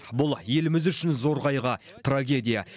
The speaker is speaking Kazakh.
бұл еліміз үшін зор қайғы трагедия